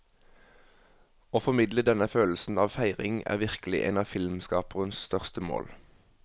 Å formidle denne følelsen av feiring er virkelig en av filmskaperens største mål.